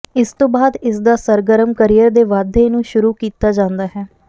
ਇਸ ਤੋਂ ਬਾਅਦ ਇਸਦਾ ਸਰਗਰਮ ਕਰੀਅਰ ਦੇ ਵਾਧੇ ਨੂੰ ਸ਼ੁਰੂ ਕੀਤਾ ਜਾਂਦਾ ਹੈ